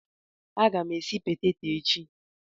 A ga m esi peteto echi.